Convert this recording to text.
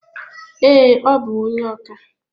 Ee, ọ bu onye oka